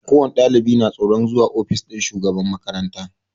Ko wani ɗalibi na tsoron zuwa ofis ɗin shugaban makaranta